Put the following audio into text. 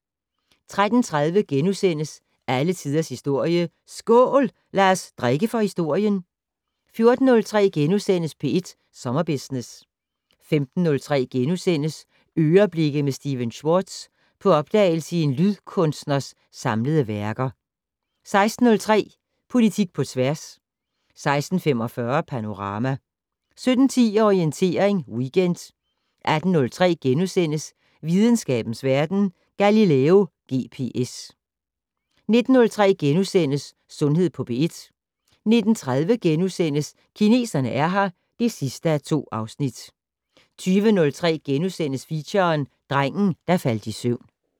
13:30: Alle tiders historie: SKÅL! Lad os drikke for historien * 14:03: P1 Sommerbusiness * 15:03: "Øreblikke" med Stephen Schwartz - på opdagelse i en lydkunstners samlede værker (6:6)* 16:03: Politik på tværs 16:45: Panorama 17:10: Orientering Weekend 18:03: Videnskabens Verden: Galileo GPS * 19:03: Sundhed på P1 * 19:30: Kineserne er her (2:2)* 20:03: Feature: Drengen der faldt i søvn *